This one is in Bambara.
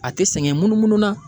A te sɛngɛ munumunu na.